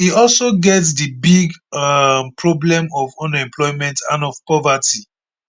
e also get di big um problem of unemployment and of poverty